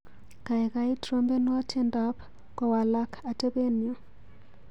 Kaikai trompenwa tyendap kowalak atebenyu.